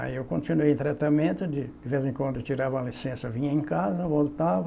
Aí eu continuei o tratamento, de vez em quando eu tirava a licença, vinha em casa, voltava,